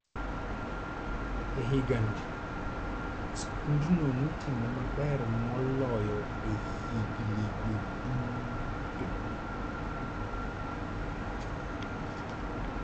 E higano skundno notimo maber moloyo e hignigo duto.